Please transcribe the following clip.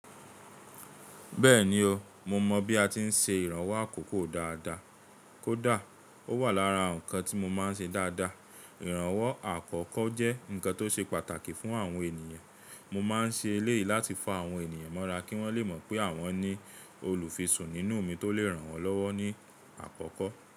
Bẹ́ẹ̀ni o, mo mọ̀ bí a ti ń se ìrànwọ́ àkọ́kọ́ dáadáa. Kódà ó wà lára nǹkan tí mo máa ń ṣe dáadáa. Ìrànwọ́ àkọ́kọ́ jẹ́ nǹkan tó ṣe pàtàkì fún àwọn ènìyàn. Mo máa ń ṣe eléyìí láti fa àwọn ènìyàn mọ́ra kí wọ́n lè mọ̀ pé àwọn ní olùfisùn nínú mi tó lè ràn wọ́n lọ́wọ́ ní àkọ́kọ́.